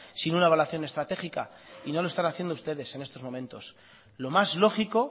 sin una evaluación estratégica y no lo están haciendo ustedes en estos momentos lo más lógico